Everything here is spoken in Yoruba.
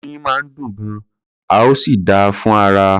Oyin máa ń dùn gan-an, ó sì dáa fún ara.